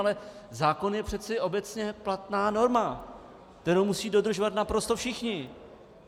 Ale zákon je přece obecně platná norma, kterou musí dodržovat naprosto všichni.